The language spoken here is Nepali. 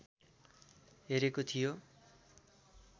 हेरेको थियो